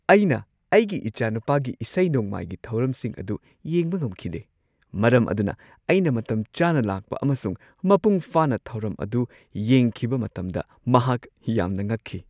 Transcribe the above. ꯑꯩꯅ ꯑꯩꯒꯤ ꯏꯆꯥꯅꯨꯄꯥꯒꯤ ꯏꯁꯩ-ꯅꯣꯡꯃꯥꯏꯒꯤ ꯊꯧꯔꯝꯁꯤꯡ ꯑꯗꯨ ꯌꯦꯡꯕ ꯉꯝꯈꯤꯗꯦ, ꯃꯔꯝ ꯑꯗꯨꯅ ꯑꯩꯅ ꯃꯇꯝꯆꯥꯅ ꯂꯥꯛꯄ ꯑꯃꯁꯨꯡ ꯃꯄꯨꯡ ꯐꯥꯅ ꯊꯧꯔꯝ ꯑꯗꯨ ꯌꯦꯡꯈꯤꯕ ꯃꯇꯝꯗ ꯃꯍꯥꯛ ꯌꯥꯝꯅ ꯉꯛꯈꯤ ꯫